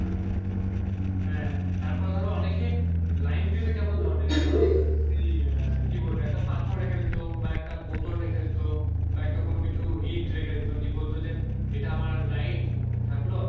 হ্যাঁ তারপর ধরো অনেকে লাইন দিতে কেমন ধরনের সেই কি বলবো একটা পাথর রেখে দিত বা একটা বোতল রেখে দিত বা একটা কোনো কিছু ইট রেখে দিত নিয়ে বলতো যে এটা আমার লাইন থাকল,